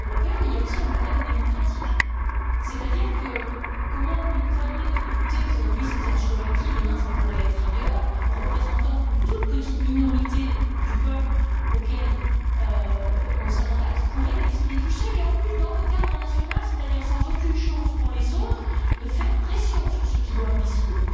mais aussi un problème démocratique comment une poignée de députés aujourd'hui, c'était en Slovaquie, demain cela pourrait être ailleurs représentant une toute petite minorité du peuple auquel on s'adresse peut elle décider toute seule et, en plus, dans le cadre national, c'est à dire sans donner aucune chance aux autres de faire pression sur ceux qui doivent décider?